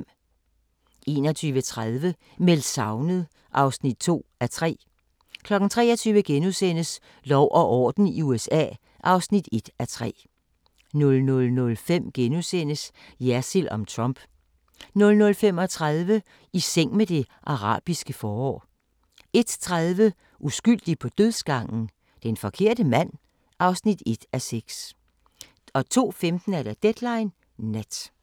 21:30: Meldt savnet (2:3) 23:00: Lov og orden i USA (1:3)* 00:05: Jersild om Trump * 00:35: I seng med det arabiske forår 01:30: Uskyldig på dødsgangen? Den forkerte mand (1:6) 02:15: Deadline Nat